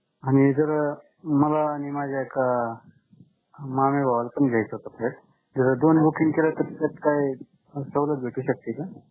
आणि जर मला आणि माझ्या एका मामे भावाला पण घ्यायचा होता flat. जर दोन booking केलं तर त्यात काय सवलत भेटू शकते का?